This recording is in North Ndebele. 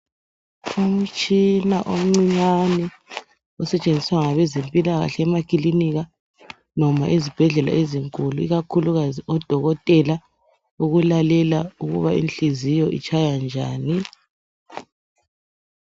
Umtshina omncinyane osetshenziswa ngabezempilakahle emakilinika noma ezibhedlela ezinkulu ikakhulukazi odokotela ukulalela ukuba inhliziyo itshaya njani.